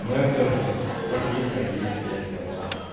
но это как есть так есть а я сказал